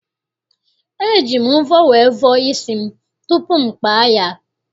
E ji m mvọ wee vọọ isi m tupu m kpaa ya.